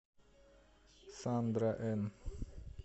сандра эн